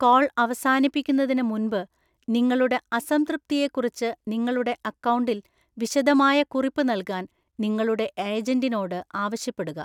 Call അവസാനിപ്പിക്കുന്നതിന് മുൻപ് നിങ്ങളുടെ അസംതൃപ്തിയെക്കുറിച്ച് നിങ്ങളുടെ അക്കൗണ്ടിൽ വിശദമായ കുറിപ്പ് നൽകാൻ നിങ്ങളുടെ ഏജന്റിനോട് ആവശ്യപ്പെടുക.